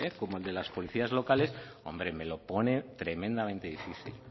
como el de las policías locales me lo pone tremendamente difícil